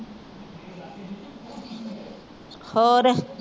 ਹੋਰ